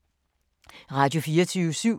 Radio24syv